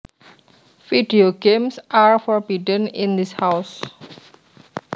Video games are forbidden in this house